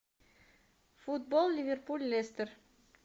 футбол ливерпуль лестер